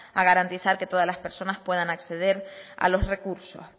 a garantizar que todas las personas puedan acceder a los recursos